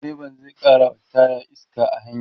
direban zai karawa taya iska a hanya